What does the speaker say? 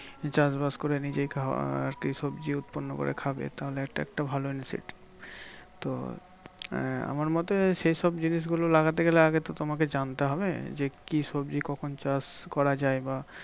চাষ বাস করে নিজেই খাওয়া আরকি সবজি উৎপন্ন করে খাবে তাহলে একটা একটা ভালো initiative. তো আহ আমার মতে সেই সব জিনিসগুলো লাগাতে গেলে আগে তো তোমাকে জানতে হবে যে কি সবজি কখন চাষ করা যায়? বা